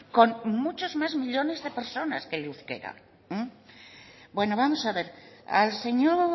con muchos más millónes de personas que el euskera bueno vamos a ver al señor